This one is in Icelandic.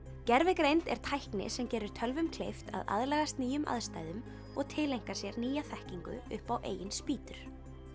gervigreind er tækni sem gerir tölvum kleift að aðlagast nýjum aðstæðum og tileinka sér nýja þekkingu upp á eigin spýtur